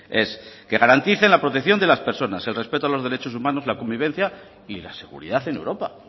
es que garantice la protección de las personas el respeto a los derechos humanos la convivencia y la seguridad en europa